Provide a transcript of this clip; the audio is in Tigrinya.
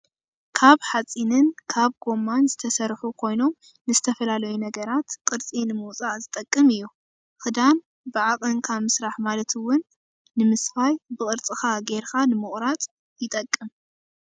ካብ ሓፂንን ካብ ጎማን ዝተሰርሑ ኮይኖም ንዝተፈላለዩ ነገራት ቅርፂ ንምውፃእ ዝጠቅም እዩ። ክዳን ብዓቀንካን ምስራሕ ማለት እውን ንምስፋይ ብቅርፅካ ገይርካ ንምቁራፅ ይጠቅም።